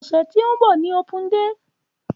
Ọsẹ ti n bọ ni opun-dé.